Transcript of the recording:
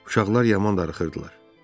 Uşaqlar yaman darıxırdılar.